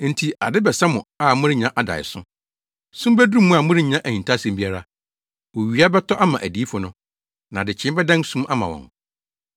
Enti ade bɛsa mo a morennya adaeso, sum beduru mo a morennya ahintasɛm biara. Owia bɛtɔ ama adiyifo no, na adekyee bɛdan sum ama wɔn.